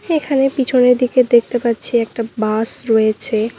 এখানে পিছনের দিকে দেখতে পাচ্ছি একটা বাস রয়েছে।